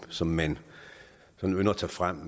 som man sådan ynder at tage frem